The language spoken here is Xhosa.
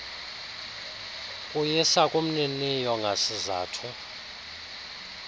kuyisa kumniniyo ngasizathu